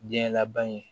Diɲɛ laban ye